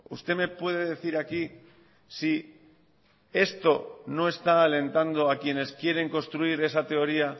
usted me puede decir aquí si esto no está alentando a quienes quieren construir esa teoría